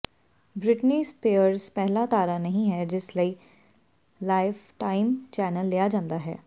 Britney Spears ਪਹਿਲਾ ਤਾਰਾ ਨਹੀਂ ਹੈ ਜਿਸ ਲਈ ਲਾਈਫਟਾਈਮ ਚੈਨਲ ਲਿਆ ਜਾਂਦਾ ਹੈ